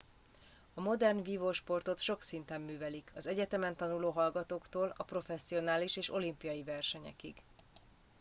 a modern vívósportot sok szinten művelik az egyetemen tanuló hallgatóktól a professzionális és olimpiai versenyekig